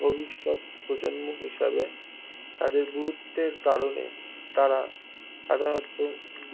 ভবিষ্যৎ প্রজন্ম হিসাবে তাদের গুরুত্বের কারণে তারা সাধারণত